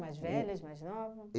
Mais velhas, mais nova?